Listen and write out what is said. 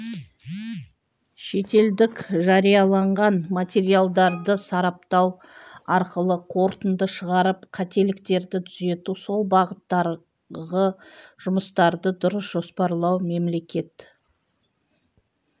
шетелдік жарияланған материалдарды сараптау арқылы қорытынды шығарып қателіктерді түзету сол бағыттарғы жұмыстарды дұрыс жоспарлау мемлекет